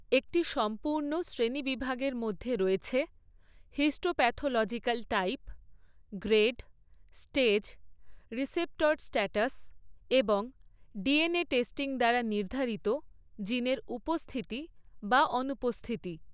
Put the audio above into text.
একটি সম্পূর্ণ শ্রেণীবিভাগের মধ্যে রয়েছে histopathological type, grade, stage, receptor status এবং ডিএনএ টেস্টিং দ্বারা নির্ধারিত জিনের উপস্থিতি বা অনুপস্থিতি।